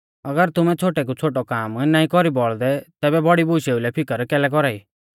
अगर तुमै छ़ोटै कु छ़ोटौ काम नाईं कौरी बौल़दै तैबै बौड़ी बुशेऊ लै फिकर कैलै कौरा ई